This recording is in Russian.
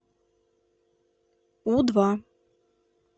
у два